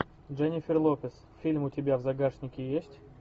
дженнифер лопес фильм у тебя в загашнике есть